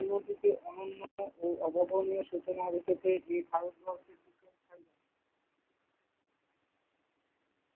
ও অবগনিও সূচনার রূপেতে এ ভারতবর্ষ।